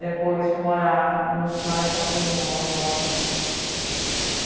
Depois fui morar no Sumaré, que é onde eu moro agora.